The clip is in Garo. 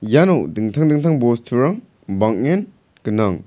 iano dingtang dingtang bosturang bang·en gnang.